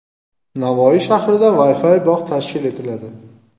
Navoiy shahrida Wi-Fi bog‘ tashkil etiladi.